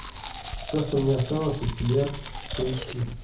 все что мне осталось от тебя поищи